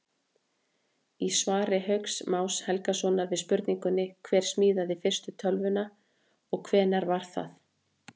Í svari Hauks Más Helgasonar við spurningunni Hver smíðaði fyrstu tölvuna og hvenær var það?